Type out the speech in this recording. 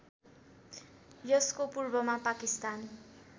यसको पूर्वमा पाकिस्तान